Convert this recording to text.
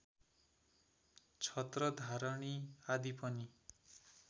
छत्रधारणि आदि पनि